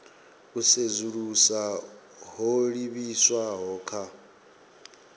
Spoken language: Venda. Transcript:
u sedzulusa ho livhiswaho kha